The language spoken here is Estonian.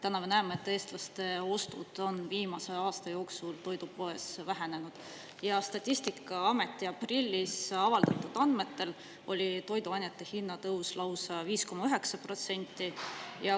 Täna me näeme, et eestlaste ostud on viimase aasta jooksul toidupoes vähenenud, ja Statistikaameti aprillis avaldatud andmetel oli toiduainete hinnatõus lausa 5,9%.